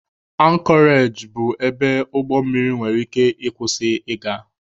Ankọreji bụ ebe ụgbọ mmiri nwere ike ị kwụsị ị ga.